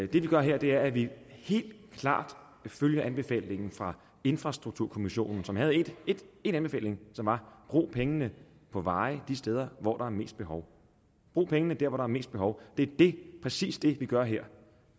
vi gør her er at vi helt klart følger anbefalingen fra infrastrukturkommissionen som havde én anbefaling som var brug pengene på veje de steder hvor der er mest behov brug pengene der hvor der er mest behov det præcis det vi gør her